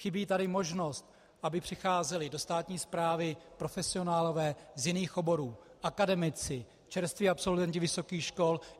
Chybí tady možnost, aby přicházeli do státní správy profesionálové z jiných oborů, akademici, čerství absolventi vysokých škol.